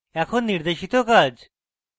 এখন নির্দেশিত কাজ